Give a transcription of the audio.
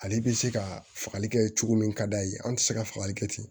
Ale bɛ se ka fagali kɛ cogo min ka d'a ye an tɛ se ka fagali kɛ ten